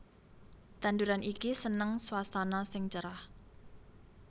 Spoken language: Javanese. Tanduran iki seneng swasana sing cerah